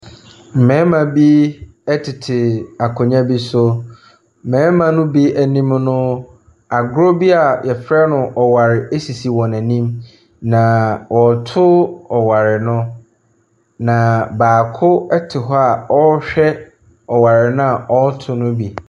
Mmarimma bi ɛtete akonnwa bi so. Mmarima no bi anim no agorɔ bi a yɛfrɛ no ɔware esisi wɔanim. Naa ɔreto ɔware no na baako ɛte hɔ a ɔrehwɛ ɔware na ɔreto no bi.